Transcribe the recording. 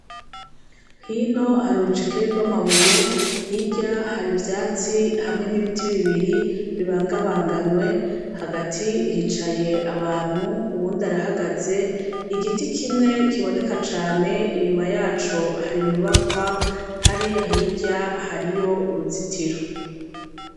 Hino hari urucekeri rw'amabuye , hirya hari ivyatsi hamwe n'ibiti bibiri bibangabanganwe, hagati hicaye abantu uwundi arahagaze, igiti kimwe kiboneka cane inyuma yaco hari inyubakwa hariyahirya hariyo uruzitiro.